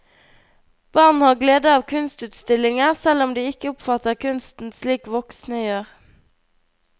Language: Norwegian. Barn har glede av kunstutstillinger, selv om de ikke oppfatter kunsten slik voksne gjør.